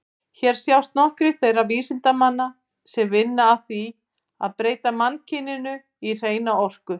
Hér sjást nokkrir þeirra vísindamanna sem vinna að því að breyta mannkyninu í hreina orku.